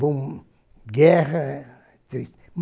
Bom, guerra, é triste.